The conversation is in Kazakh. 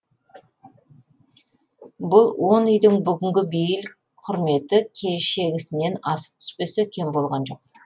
бұл он үйдің бүгінгі бейіл құрметі кешегісінен асып түспесе кем болған жоқ